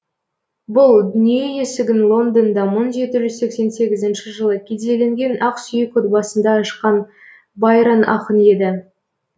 бұл дүние есігін лондонда мың жеті жүз сексен сегізінші жылы кедейленген ақсүйек отбасында ашқан байрон ақын еді